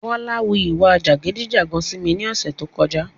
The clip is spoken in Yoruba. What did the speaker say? Bọ́lá wu ìwà jàgídí-jàgan sí mi ní ọ̀sẹ́ tó kọjá.